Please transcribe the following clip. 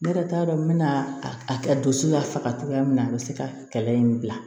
Ne yɛrɛ t'a dɔn n bɛna a kɛ donso y'a faga cogoya min na a bɛ se ka kɛlɛ in bila